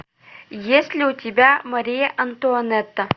есть ли у тебя мария антуанетта